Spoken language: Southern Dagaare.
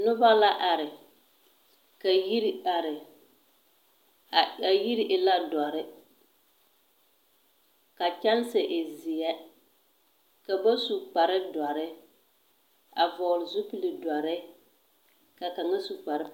Noba la are, ka yiri are. A a yiri e la dͻre, ka kyԑnse e zeԑ. Ka ba su kpare dͻre a vͻgele zupili dͻre ka kaŋa su kpare.